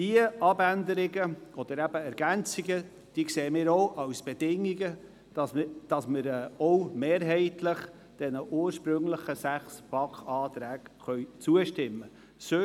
Die Abänderungen oder eben Ergänzungen sehen wir auch als Bedingungen dafür, dass wir den ursprünglichen sechs BaK-Anträgen zustimmen können.